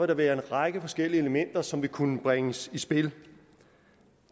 der være en række forskellige elementer som vil kunne bringes i spil